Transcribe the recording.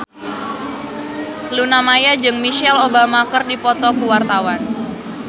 Luna Maya jeung Michelle Obama keur dipoto ku wartawan